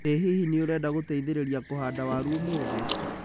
ĩ hihi nĩ ũrenda gũteitherĩria kũhanda waru ũmũthĩ?